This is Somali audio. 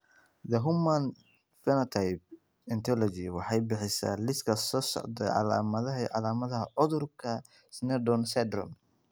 The Human Phenotype Ontology waxay bixisaa liiska soo socda ee calaamadaha iyo calaamadaha cudurka Sneddon syndrome.